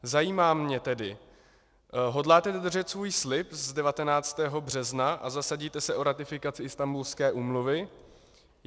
Zajímá mne tedy: Hodláte dodržet svůj slib z 19. března a zasadíte se o ratifikaci Istanbulské úmluvy?